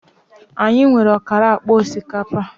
Anyị nwere ọkara akpa osikapa